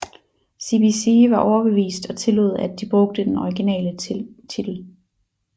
CBC var overbevist og tillod at de brugte den originale titel